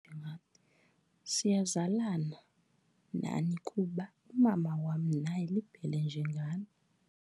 Siyazalana nani kuba umama wam naye liBhele njengani.